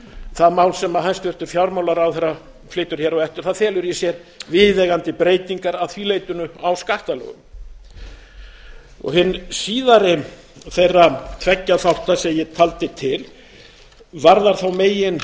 það mál sem hæstvirtur fjármálaráðherra flytur hér á eftir felur í sér viðeigandi breytingar að því leytinu á skattalögum hinn síðari þeirra tveggja þátta sem ég taldi til varðar þá